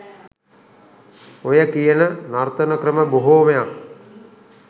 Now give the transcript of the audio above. ඔය කියන නර්තන ක්‍රම බොහෝමයක්